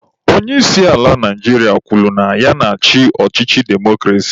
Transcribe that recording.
Onye isi ala Naijiria kwuru na ya na-achị ọchịchị demokrasi.